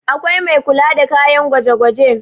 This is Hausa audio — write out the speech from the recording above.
akwai Mai kula da kayan gwaje gwaje